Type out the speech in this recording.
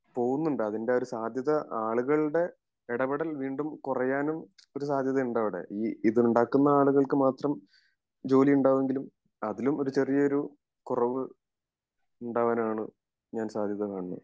പോവുന്നുണ്ട് അതിൻ്റെ ആ ഒരു സാധ്യത ആളുകളുടെ ഇടപെടൽ വീണ്ടും കൊറയാനും ഒരു സാധ്യത ഉണ്ട് അവിടെ ഈ ഇത് ഉണ്ടാക്കുന്ന ആളുകൾക്ക് മാത്രം ജോലി ഉണ്ടാവുമെങ്കിലും അതിലും ഒരു ചെറിയൊരു കുറവ് ഉണ്ടാവാനാണ് ഞാൻ സാധ്യത കാണുന്നത്